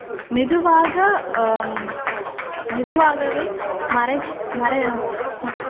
மெதுவாக அஹ் மெதுவாகவே மறை மறை அஹ்